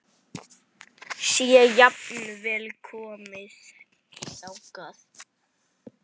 Sé jafnvel komið þangað!